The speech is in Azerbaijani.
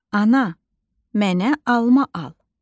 Ana, mənə alma al.